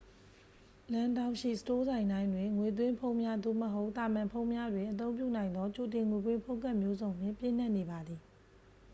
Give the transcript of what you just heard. လမ်းထောင့်ရှိ စတိုးဆိုင်တိုင်းတွင် ငွေသွင်းဖုန်းများ သို့မဟုတ် သာမန်ဖုန်းများတွင် အသုံးပြုနိုင်သော ကြိုတင်ငွေပေး ဖုန်းကဒ်မျိုးစုံနှင့် ပြည့်နှက်နေပါသည်